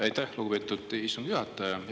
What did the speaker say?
Aitäh, lugupeetud istungi juhataja!